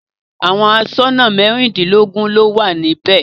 Àwọn aṣọ́nà mẹ́rìndínlógún ni ó wà níbẹ̀.